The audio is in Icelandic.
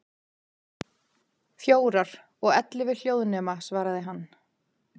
Fjórar, og ellefu hljóðnema, svaraði hann.